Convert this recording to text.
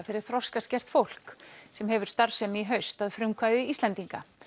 fyrir þroskaskert fólk sem hefur starfsemi í haust að frumkvæði Íslendinga